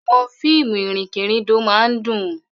Àwọn fíìmù ìrìnkèrindò máa ń dùn.